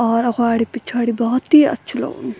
और अग्वाड़ी-पिछ्वाडी बहौत ही अच्छु लगणु।